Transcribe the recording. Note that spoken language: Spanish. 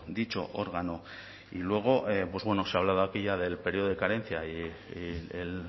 dicho órgano y luego pues bueno se ha hablado aquí ya del periodo de carencia y el